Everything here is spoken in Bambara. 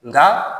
Nka